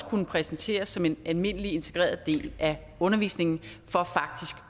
kunne præsenteres som en almindelig integreret del af undervisningen